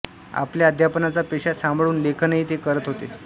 आपल्या अध्यापनाचा पेशा सांभाळून लेखनही ते करत होते